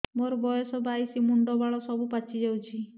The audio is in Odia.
ମୋର ବୟସ ବାଇଶି ମୁଣ୍ଡ ବାଳ ସବୁ ପାଛି ଯାଉଛି